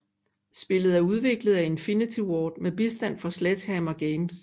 Spillet er udviklet af Infinity Ward med bistand fra Sledgehammer Games